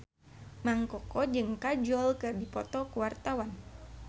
Mang Koko jeung Kajol keur dipoto ku wartawan